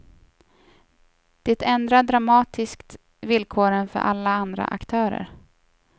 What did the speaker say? Det ändrar dramatiskt villkoren för alla andra aktörer.